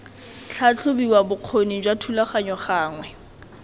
tlhatlhobiwa bokgoni jwa thulaganyo gangwe